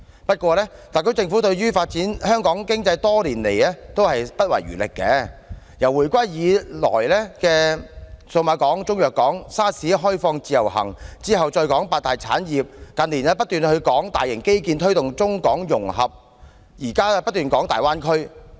不過，特區政府對於發展香港經濟多年來不遺餘力，由回歸以來的數碼港、中藥港，到 SARS 後開放自由行，之後再提出八大產業，近年則不斷透過大型基建推動中港融合，現在則不斷提粵港澳大灣區。